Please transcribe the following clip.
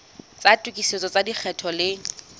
tsa tokisetso tsa lekgetho di